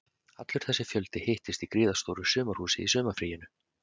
Allur þessi fjöldi hittist í gríðarstóru sumarhúsi í sumarfríinu